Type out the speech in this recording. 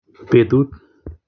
Betut